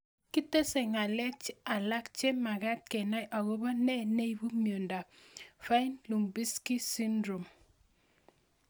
kitesei ng'alek alak che magat kenai akopo nee neipu miondop Fine Lubinsky syndrome